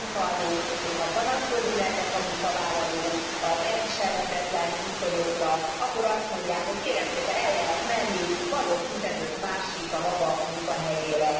És a munkaadók, hogyha panaszkodni mernek a munkavállalók az elviselhetetlen viszonyokra, akkor azt mondják, hogy kérem szépen, el lehet menni, van ott 15 másik a maga munkahelyére.